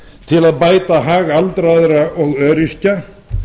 til að bæta hag aldraðra og öryrkja